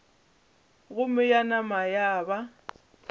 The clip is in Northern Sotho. gomme ya nama ya ba